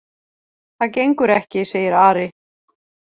Það gengur ekki, segir Ari.